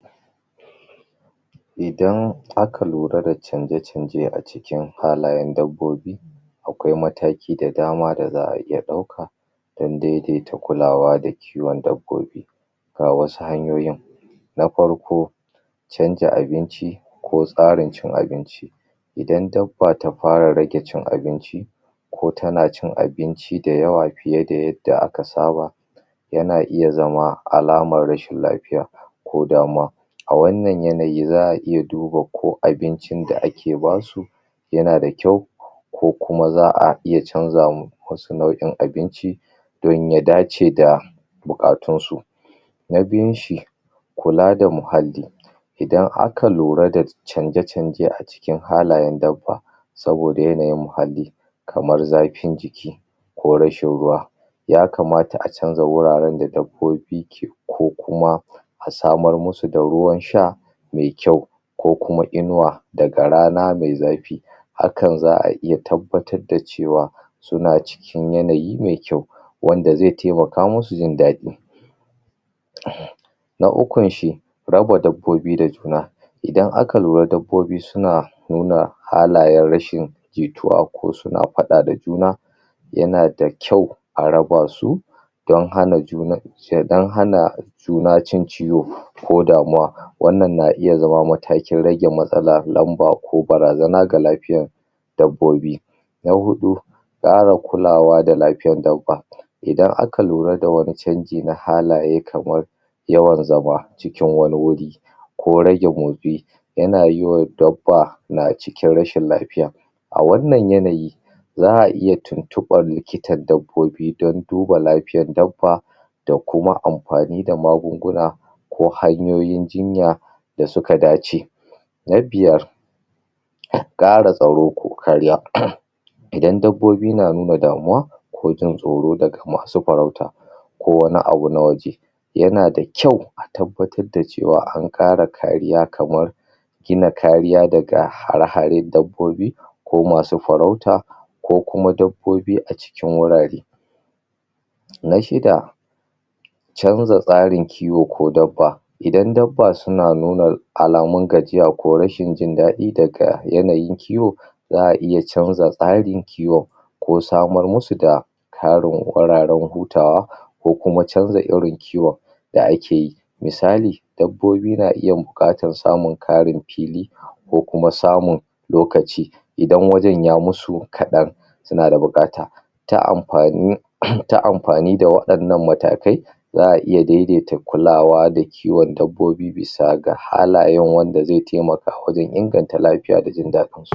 Idan aka lura da canje-canje a cikin halayan dabbobi akwai mataki da dama da za'a iya ɗauka dan daidaita kulawa da kiwon dabbobi ga wasu hanyoyin na farko canja abinci ko tsarin cin abinci idan dabba ta fara raje cin abinci ko tana cin abinci da yawa fiye da yadda aka saba yana iya zama alamar rashin lafiya ko damuwa a wannan yanayi za'a iya duba ko abincin da ake basu yana da kyau ko kuma za'a iya canza musu nau'in abinci dan ya dace da buƙatun su. Na biyun shi kula da muhalli idan aka lura da canje-canje a ckin halayan dabba saboda yanayin muhalli kamar zafin jiki ko rashin ruwa yakamata a canza wuraren da dabbobi ke ko kuma a samar musu da ruwan sha mai kyau ko kuma inuwa, daga rana mai zafi hakan za'a iya tabbatar da cewa suna cikin yanayi mai kyau wanda zai taimaka musu jin daɗi. Na ukun shi raba dabbobi da juna idan aka lura dabbobi suna nuna halayan rashin jituwa ko suna faɗa da juna yana da kyau a raba su dan hana juna dan hana juna cin ciwo ko damuwa, wannan na iya zama matakin rage matsala, lamba ko barazana ga lafiyan dabbobi. Na huɗu ƙara kulawa da lafiyar dabba idan aka lura da wani canji na halaye yawan zama cikin wani wuri ko rage motsi yana yiwa dabba na cikin rashin lafiya a wannan yanayi za'a iya tuntuɓar likitan dabbobi dan duba lafiyan dabba da kuma amfani da magunguna ko hanyoyin jinya da suka dace. Na biyar ƙara tsaro ko kariya idan dabbobi na nuna damuwa ko jin tsoro daga masu farauta ko wani abu na waje yana da kyau a tabbatar da cewa an ƙara kariya kamar gina kariya daga hare-haren dabbobi ko masu farauta ko kuma dabbobi a cikin wurare. Na shida canza tsarin kiwo ko dabba idan dabba suna nuna alamun gajiya ko rashin jin daɗi daga yanayin kiwo za'a iya canza tsarin kiwo ko samar musu da ƙarin wararen hutawa ko kuma canza irin kiwon da ake yi misali dabbobi na iya buƙatar samun ƙarin fili ko kuma samun lokaci idan wajan yayi musu kaɗan suna da buƙata ta amfani um ta amfani da waɗannan matakai za'aa iya daidaita kulawa da kiwon dabbobi bisa ga halayen wanda zai taimaka wajan inganta lafiya da jin daɗin su